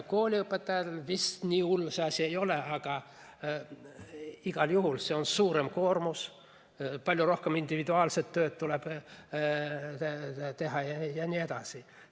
Kooliõpetajal vist nii hull see asi ei ole, aga igal juhul see on suurem koormus, palju rohkem individuaalset tööd tuleb teha jne.